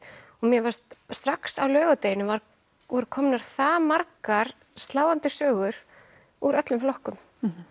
mér fannst strax á laugardeginum voru komnar það margar sláandi sögur úr öllum flokkum